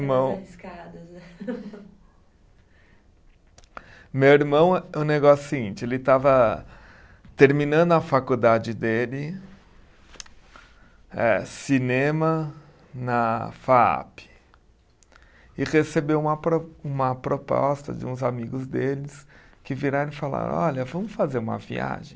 né. Meu irmão, o negócio é o seguinte, ele estava terminando a faculdade dele, eh cinema na Faap, e recebeu uma pro uma proposta de uns amigos deles que viraram e falaram, olha, vamos fazer uma viagem.